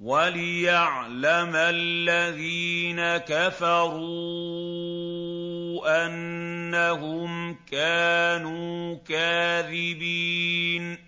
وَلِيَعْلَمَ الَّذِينَ كَفَرُوا أَنَّهُمْ كَانُوا كَاذِبِينَ